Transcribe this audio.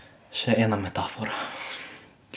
Še ena metafora.